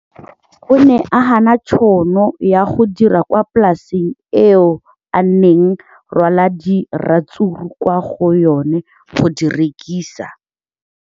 O ne a gana tšhono ya go dira kwa polaseng eo a neng rwala diratsuru kwa go yona go di rekisa.